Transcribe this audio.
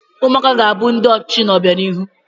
Ụmụaka ga-abụ ndị ọchịchị n'obianihu.